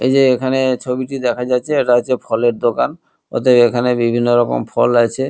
এই যে এখানে ছবিটি দেখা যাচ্ছে এটা হচ্ছে ফলের দোকান ওদের এখানে বিভিন্ন রকম ফল আছে।